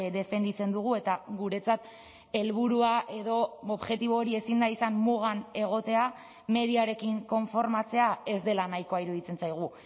defenditzen dugu eta guretzat helburua edo objektibo hori ezin da izan mugan egotea mediarekin konformatzea ez dela nahikoa iruditzen zaigu